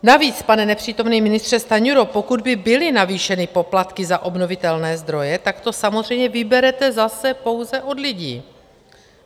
Navíc, pane nepřítomný ministře Stanjuro, pokud by byly navýšeny poplatky za obnovitelné zdroje, tak to samozřejmě vyberete zase pouze od lidí.